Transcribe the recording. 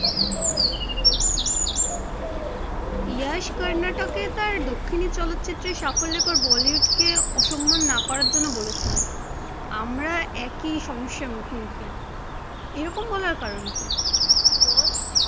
যশ কর্নাটকে তার দক্ষিণী চলচ্চিত্রের সাফল্যের পর বলিউড কে অসম্মান না করার জন্য বলেছিলেন, আমরা একি সমস্যার মুখমুখী, এরকম বলার কারণ কি?